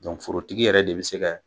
forotigi yɛrɛ de bi se kɛ.